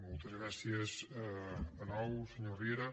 moltes gràcies de nou senyor riera